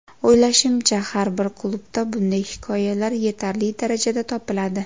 O‘ylashimcha, har bir klubda bunday hikoyalar yetarli darajada topiladi.